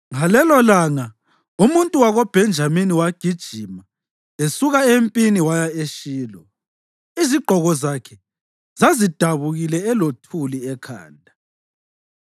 Ngalelolanga umuntu wakoBhenjamini wagijima esuka empini waya eShilo, izigqoko zakhe zazidabukile elothuli ekhanda.